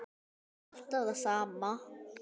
Svarið er alltaf það sama.